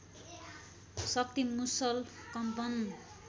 शक्ति मुसल कम्पन